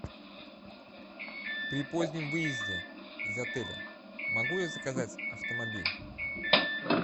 при позднем выезде из отеля могу я заказать автомобиль